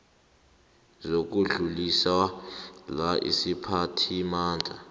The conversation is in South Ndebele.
zokudluliswa la isiphathimandla